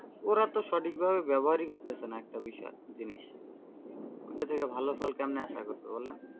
ওরা তো সঠিকভাবে ব্যবহার করতেছে না একটা বিষয়, জিনিস ওটা থেকে ভালো ফল কেমনে আশা করবে বলেন?